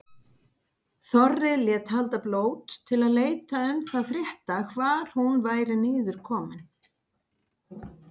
Þorri lét halda blót til að leita um það frétta hvar hún væri niður komin.